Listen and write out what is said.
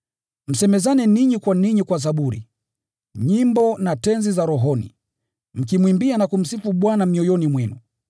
Msemezane ninyi kwa ninyi kwa zaburi, nyimbo na tenzi za rohoni, mkimwimbia na kumsifu Bwana mioyoni mwenu,